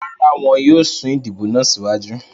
Rara, wọn yóò sun idibo naa siwaju